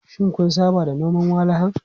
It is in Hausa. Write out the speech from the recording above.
Shin kun saba da noman walahan?